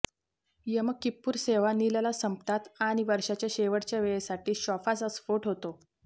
M Kippur सेवा नीलला संपतात आणि वर्षाच्या शेवटच्या वेळेसाठी शॉफाचा स्फोट होतो